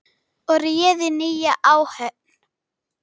og réðu nýja áhöfn.